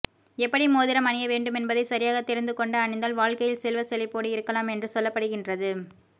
எப்படி மோதிரம் அணிய வேண்டுமென்பதை சரியாக தெரிந்து கொண்டு அணிந்தால் வாழ்க்கையில் செல்வ செழிப்போடு இருக்கலாம் என்று சொல்லப்படுகின்றது